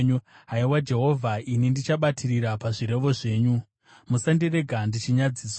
Haiwa Jehovha, ini ndichabatirira pazvirevo zvenyu; musandirega ndichinyadziswa.